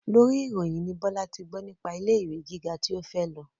Lórí ìròyìn ni Bọ́lá ti gbọ́ nípa ilé ìwé gíga tí ó fẹ́ lọ